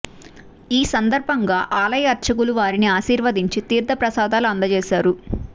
ఈ సందర్భంగా ఆలయ అర్చకులు వారిని ఆశీర్వదించి తీర్థ ప్రసాదాలు అందజేశారు